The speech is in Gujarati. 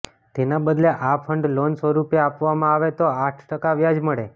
તેના બદલે આ ફંડ લોન સ્વરૂપે આપવામાં આવે તો આઠ ટકા વ્યાજ મળે